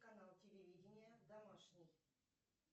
канал телевидения домашний